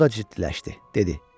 O da ciddiləşdi, dedi.